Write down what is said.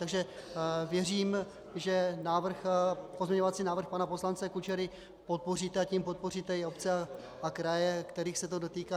Takže věřím, že pozměňovací návrh pana poslance Kučery podpoříte, a tím podpoříte i obce a kraje, kterých se to dotýká.